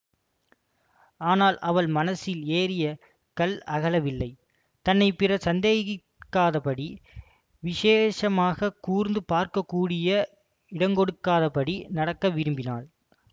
ஆனால் அவள் மனசில் ஏறிய கல் அகலவில்லை தன்னை பிறர் சந்தேகிக்காதபடி விசேஷமாகக் கூர்ந்து பார்க்க கூடிய இடங்கொடாதபடி நடக்க விரும்பினாள்